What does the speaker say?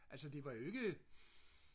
altså det var jo ikke